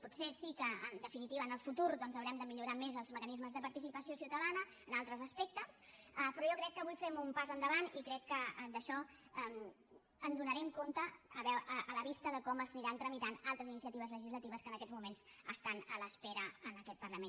potser sí que en definitiva en el futur haurem de millorar més els mecanismes de participació ciutadana en altres aspectes però jo crec que avui fem un pas endavant i crec que d’això en donarem compte a la vista de com s’aniran tramitant altres iniciatives legislatives que en aquests moments estan a l’espera en aquest parlament